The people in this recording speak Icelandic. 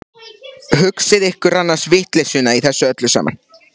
Hugsið ykkur annars vitleysuna í þessu öllu saman!